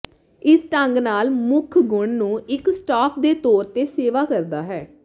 ਇਸ ਢੰਗ ਨਾਲ ਮੁੱਖ ਗੁਣ ਨੂੰ ਇੱਕ ਸਟਾਫ ਦੇ ਤੌਰ ਤੇ ਸੇਵਾ ਕਰਦਾ ਹੈ